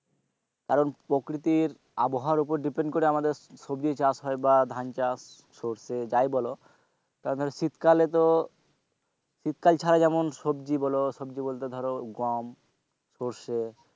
কারণ প্রকৃতির আবহাওয়ার ওপর depend করে আমাদের সবজি চাষ হয় বা ধান চাষ সর্ষে যাই বলো তার মানে শীতকালে তো শীতকাল ছাড়া যেমন সবজি বলো সবজি বলতে ধরো গম সর্ষে,